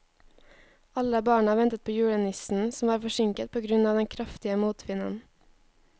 Alle barna ventet på julenissen, som var forsinket på grunn av den kraftige motvinden.